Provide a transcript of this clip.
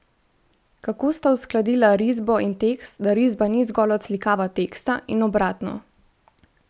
Kako sta uskladila risbo in tekst, da risba ni zgolj odslikava teksta in obratno?